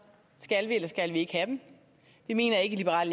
skal vi eller skal vi ikke have dem vi mener ikke i liberal